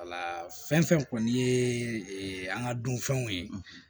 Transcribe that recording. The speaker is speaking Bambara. fɛn fɛn kɔni ye an ka dunfɛnw ye